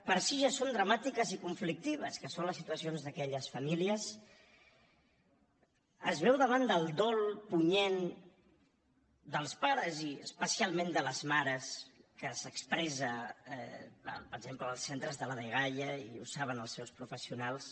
per si ja són dramàtiques i conflictives que són les situacions d’aquelles famílies es veu davant del dol punyent dels pares i especialment de les mares que s’expressa per exemple en els centres de la dgaia i ho saben els seus professionals